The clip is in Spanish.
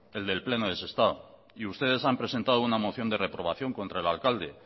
el del pleno de sestao y ustedes han presentado una moción de reprobación contra el alcalde